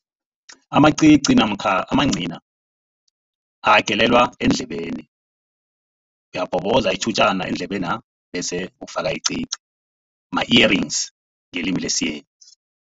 Amacici namkha amancina ayagelelwa endlebeni. Uyawabhoboza itjhutjana endlebena bese ufaka icici, ma-earrings ngelimi lesiyeni.